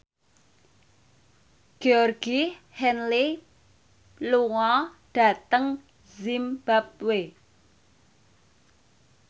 Georgie Henley lunga dhateng zimbabwe